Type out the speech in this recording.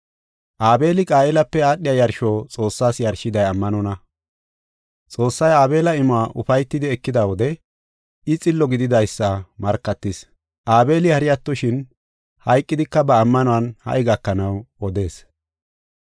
Aabeli Qaayelape aadhiya yarsho Xoossaas yarshiday ammanonna. Xoossay Aabela imuwa ufaytidi ekida wode I xillo gididaysa markatis. Aabeli hari attoshin, hayqidika ba ammanuwan ha77i gakanaw odees.